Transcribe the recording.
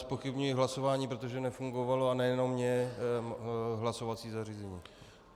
Zpochybňuji hlasování, protože nefungovalo, a nejenom mně, hlasovací zařízení.